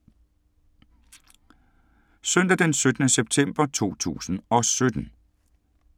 Søndag d. 17. september 2017